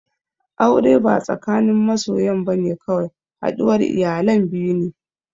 Aure ba tsakanin masoyan bane kawai, haɗuwar iyalan biyu ne